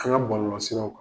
Ka ŋa bɔlɔlɔsiraw ka